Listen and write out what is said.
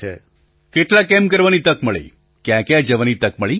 પ્રધાનમંત્રી કેટલા કેમ્પ કરવાની તક મળી ક્યાંક્યાં જવાની તક મળી